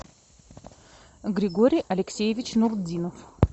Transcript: григорий алексеевич нурдинов